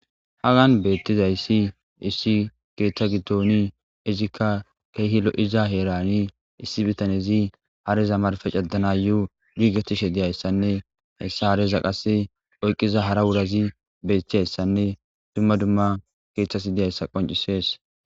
Hagan beettizayssi issi keeththa giddoni izikka keehi lo7iza heerani issi bitanezi hareza marfe cadana yuu giigetishe diyayssanne hessa areza qase oyqqiza hara wurazi beeththiyayssanne dumma dumma keeththas diyayssa qoncisees.